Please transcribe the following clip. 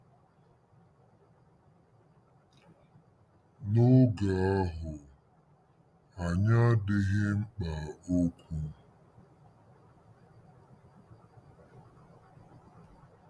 N'oge ahụ, anyị adịghị mkpa okwu.